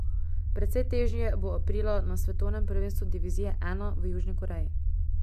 Precej težje bo aprila na svetovnem prvenstvu divizije I v Južni Koreji.